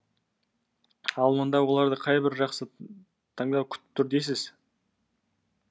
ал мұнда оларды қайбір жақсы таңдау күтіп тұр дейсіз